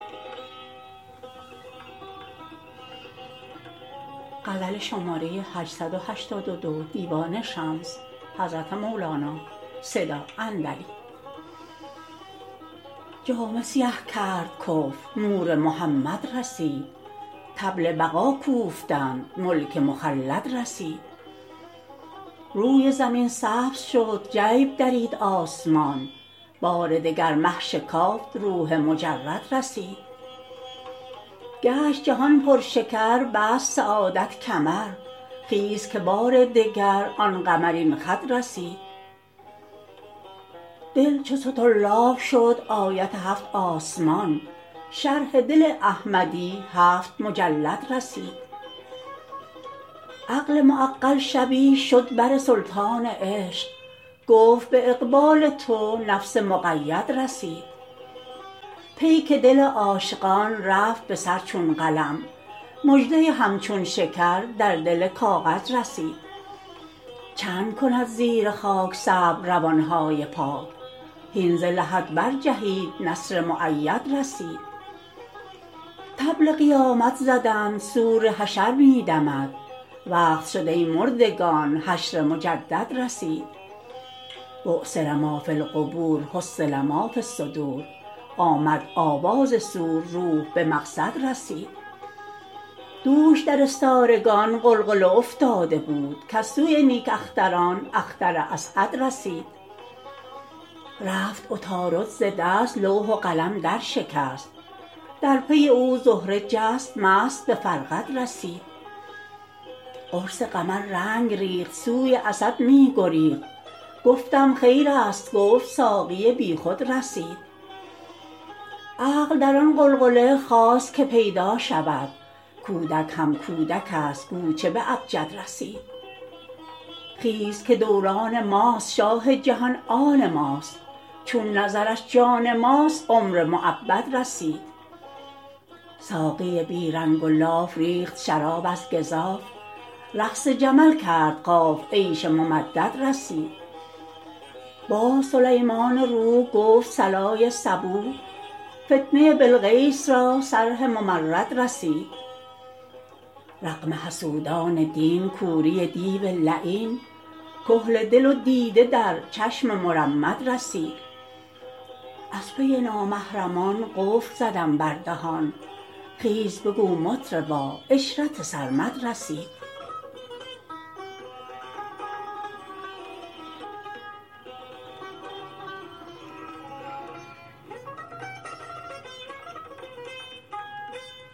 جامه سیه کرد کفر نور محمد رسید طبل بقا کوفتند ملک مخلد رسید روی زمین سبز شد جیب درید آسمان بار دگر مه شکافت روح مجرد رسید گشت جهان پرشکر بست سعادت کمر خیز که بار دگر آن قمرین خد رسید دل چو سطرلاب شد آیت هفت آسمان شرح دل احمدی هفت مجلد رسید عقل معقل شبی شد بر سلطان عشق گفت به اقبال تو نفس مقید رسید پیک دل عاشقان رفت به سر چون قلم مژده ی همچون شکر در دل کاغد رسید چند کند زیر خاک صبر روان های پاک هین ز لحد برجهید نصر مؤید رسید طبل قیامت زدند صور حشر می دمد وقت شد ای مردگان حشر مجدد رسید بعثر ما فی القبور حصل ما فی الصدور آمد آواز صور روح به مقصد رسید دوش در استارگان غلغله افتاده بود کز سوی نیک اختران اختر اسعد رسید رفت عطارد ز دست لوح و قلم درشکست در پی او زهره جست مست به فرقد رسید قرص قمر رنگ ریخت سوی اسد می گریخت گفتم خیرست گفت ساقی بیخود رسید عقل در آن غلغله خواست که پیدا شود کودک هم کودکست گو چه به ابجد رسید خیز که دوران ماست شاه جهان آن ماست چون نظرش جان ماست عمر مؤبد رسید ساقی بی رنگ و لاف ریخت شراب از گزاف رقص جمل کرد قاف عیش ممدد رسید باز سلیمان روح گفت صلای صبوح فتنه بلقیس را صرح ممرد رسید رغم حسودان دین کوری دیو لعین کحل دل و دیده در چشم مرمد رسید از پی نامحرمان قفل زدم بر دهان خیز بگو مطربا عشرت سرمد رسید